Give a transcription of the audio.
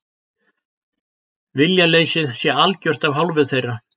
Viljaleysið sé algjört af hálfu þeirra